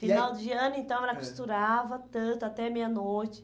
Final de ano, então, ela costurava tanto, até meia-noite.